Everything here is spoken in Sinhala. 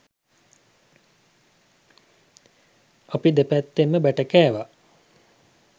අපි දෙපැත්තෙන්ම බැට කෑවා.